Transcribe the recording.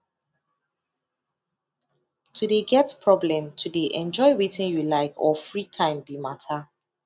to de get problem to de enjoy wetin you like or free time be matter